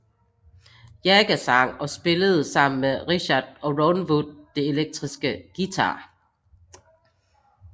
Jagger sang og spillede sammen med Richards og Ron Wood de elektriske guitarer